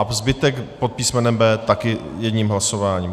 A zbytek pod písmenem B také jedním hlasováním.